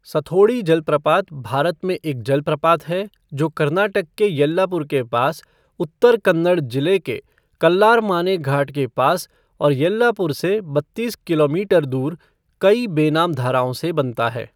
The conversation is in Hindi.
सथोड़ी जलप्रपात भारत में एक जलप्रपात है जो कर्नाटक के येल्लापुर के पास, उत्तर कन्नड़ जिले के कल्लारमाने घाट के पास और येल्लापुर से बत्तीस किलोमीटर दूर कई बेनाम धाराओं से बनता है।